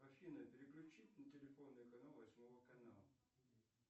афина переключи на телефонный канал восьмого канала